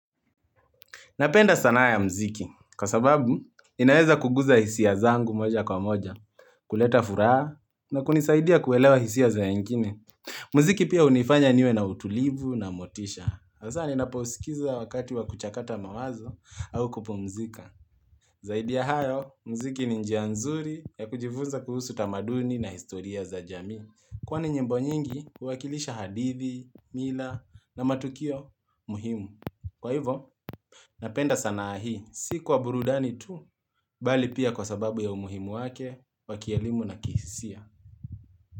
Napenda sanaa ya mziki, kwa sababu inaweza kuguza hisi zangu moja kwa moja, kuleta furaha na kunisaidia kuelewa hisi za wengine. Mziki pia unifanya niwe na utulivu na motisha. Hasa ninaposikiza wakati wa kuchakata mawazo au kupumzika. Zaidi ya hayo, mziki ni njia nzuri ya kujifunza kuhusu tamaduni na historia za jamii. Kwani nyimbo nyingi huwakilisha hadithi, mila na matukio muhimu. Kwa hivo, napenda sana hii, si kuwa burudani tu, bali pia kwa sababu ya umuhimu wake, wakielimu na kisia.